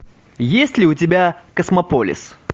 есть ли у тебя космополис